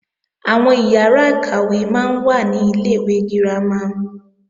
Àwọn ìyàrá-ìkàwé máa ń wà ní Ilé-ìwé girama